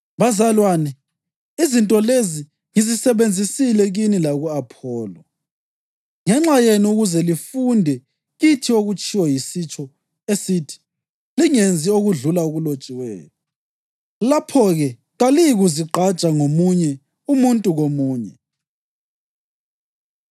Bazalwane, izinto lezi ngizisebenzisile kimi laku-Apholo ngenxa yenu ukuze lifunde kithi okutshiwo yisitsho esithi, “Lingenzi okudlula okulotshiweyo.” Lapho-ke, kaliyikuzigqaja ngomunye umuntu komunye.